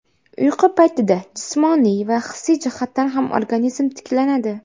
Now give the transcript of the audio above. Uyqu paytida jismoniy va hissiy jihatdan ham organizm tiklanadi.